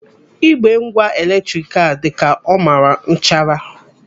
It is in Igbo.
Igbe ngwa eletrik a dị ka ọ mara nchara.